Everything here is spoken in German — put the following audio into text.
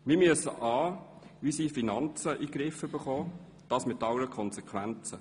Wir müssen unsere Finanzen in den Griff bekommen, und das mit allen Konsequenzen.